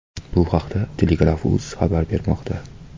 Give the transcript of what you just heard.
Bu haqda Telegraf.uz xabar bermoqda .